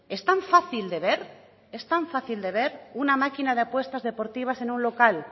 es tan fácil de ver es tan fácil de ver una máquina de apuestas deportivas en un local